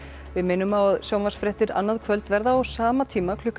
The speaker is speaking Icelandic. við minnum á að sjónvarpsfréttir annað kvöld verða á sama tíma klukkan